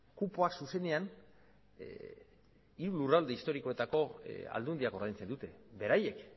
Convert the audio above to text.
kupoak zuzenean hiru lurralde historikoetako aldundiak ordaintzen dute beraiek